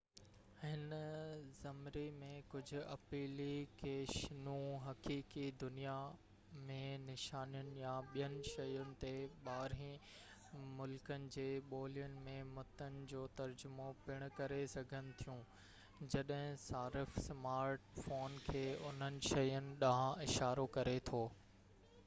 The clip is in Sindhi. هن زمري ۾ ڪجهہ اپلي ڪيشنون حقيقي دنيا م نشانين يا ٻين شين تي ٻاهرين ملڪن جي ٻولين ۾ متن جو ترجمو پڻ ڪري سگهن ٿيون جڏهن صارف سمارٽ فون کي انهن شين ڏانهن اشارو ڪري ٿو